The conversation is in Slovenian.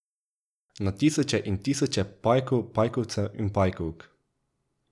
Na tisoče in tisoče pajkov, pajkovcev in pajkovk.